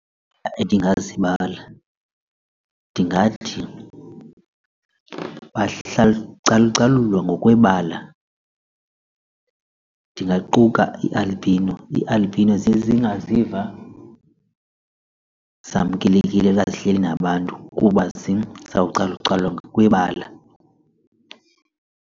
Endingazibala ndingathi calucalulwa ngokwebala ndingaquka ii-albino. Ii-albino ziye zingaziva zamkelekile xa zihleli nabantu kuba zizawucalucalulwa ngokwebala.